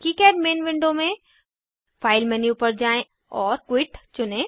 KiCad main window में file menu पर जाएँ और क्विट चुनें